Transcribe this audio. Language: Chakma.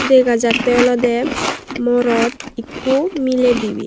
dega jattey olodey morot ekko miley dibey.